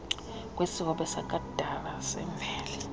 kwesihobe sakudala semveli